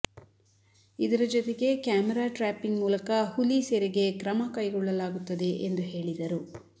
ಇದರ ಜೊತೆಗೆ camera trapping ಮೂಲಕ ಹುಲಿ ಸೆರೆಗೆ ಕ್ರಮ ಕೈಗೊಳ್ಳಲಾಗುತ್ತದೆ ಎಂದು ಹೇಳಿದರು